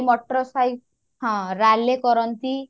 ମଟର ସହି ହଁ ରାଲି କରନ୍ତି